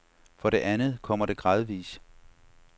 For det andet kommer det gradvis.